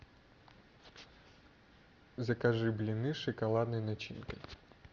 закажи блины с шоколадной начинкой